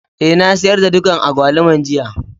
Eh, na sayar da dukan agbaluman jiya.